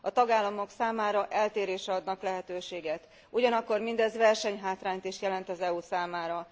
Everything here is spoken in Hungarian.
A tagállamok számára eltérésre adnak lehetőséget, ugyanakkor mindez versenyhátrányt is jelent az EU számára.